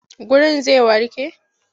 Wurin zai warke?